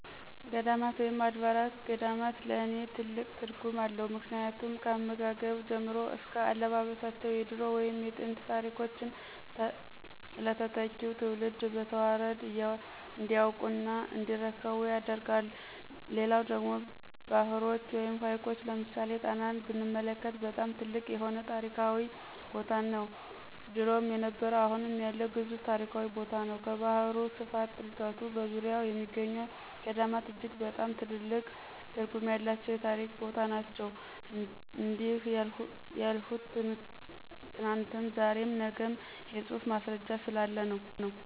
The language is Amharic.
ገዳማት ወይም አድባራት ገዳማት ለኔ ትልቅ ትርጉም አለው ምክንያቱም ካመጋገብ ጀምሮ እስከ አለባበሳቸው የድሮ ወይም የጥንት ታሪኮችን ለተተኪው ትውልድ በተዋረድ እንዲያውቁ እና እንዲረከቡ ያደርጋል። ሌላው ደግሞ ባህሮች ወይም ሀይቆች ለምሳሌ ጣናን ብንመለክት በጣም ትልቅ የሆነ ታሪካዊ ቦታነው ድሮም የነበረ አሁም ያለ ግዙፍ ታሪካዊ ቦታነው። ከባህሩ ስፋት ጥልቀቱ በዙርያው የሚገኙ ገዳማት እጅግ በጣም ትልቅ ትርጉም ያለው የታሪክ ቦታ ነናቸው። እንዲህ ያልሁት ትናንትም ዛሬም ነግም የፁሁፍ ማስረጃ ስላለ ነው።